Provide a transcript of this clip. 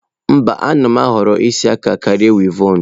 Mba, a na m ahọrọ isi aka karịa wịevọn.